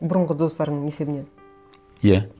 бұрынғы достарыңның есебінен иә